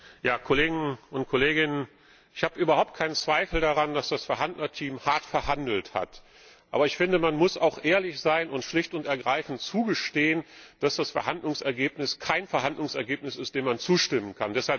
Herr Präsident! Ich habe überhaupt keinen Zweifel daran, dass das Verhandlungsteam hart verhandelt hat. Aber ich finde, man muss auch ehrlich sein und schlicht und ergreifend eingestehen, dass das Verhandlungsergebnis kein Verhandlungsergebnis ist, dem man zustimmen kann.